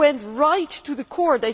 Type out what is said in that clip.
They went right to the core.